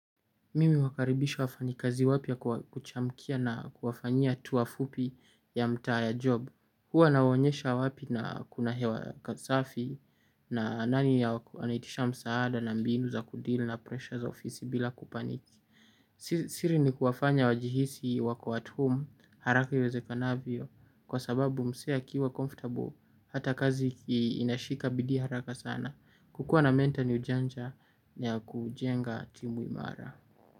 Mimi huwakaribisha wafanya kazi wapya kuchamkia na kuwafanyia tour fupi ya mtaa ya job. Hua nawonyesha wapi na kuna hewa kasafi na nani ya wako anaitisha msaada na mbinu za kudeal na pressure za ofisi bila kupaniki. Siri ni kuwafanya wajihisi wako at home haraka iwezekanavyo kwa sababu msee akiwa comfortable hata kazi inashika bidii haraka sana. Kukua na mentor ni ujanja na ya kujenga timu imara.